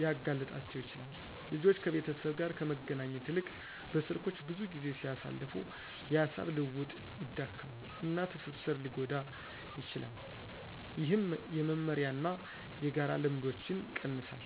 ሊያጋልጣቸው ይችላል። ልጆች ከቤተሰብ ጋር ከመገናኘት ይልቅ በስልኮች ብዙ ጊዜ ሲያሳልፉ፣ የሐሳብ ልውውጥ ይዳከማል፣ እና ትስስር ሊጎዳ ይችላል፣ ይህም የመመሪያ እና የጋራ ልምዶችን ይቀንሳል።